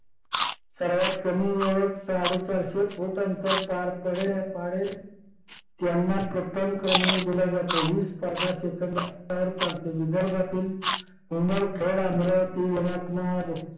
सर्वात कमी वेळेत साडे चारशे फूट अंतर पार पडेल पाडेल त्यांना प्रथम क्रमांक दिला जातो. ही स्पर्धा सेकंदावर चालते. विदर्भातील पुणे खेड अमरावती यवतमाळ